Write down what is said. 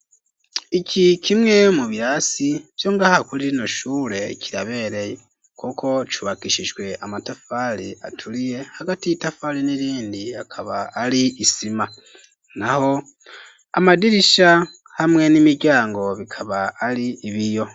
Iki kimwe mu birasi vyongaha kuri rino shure kirabereye kuko cubakishijwe amatafari aturiye hagati y'itafari n'irindi akaba ari isima naho amadirisha hamwe n'imiryango bikaba ari ibiyo